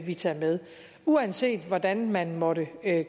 vi tager med uanset hvordan man måtte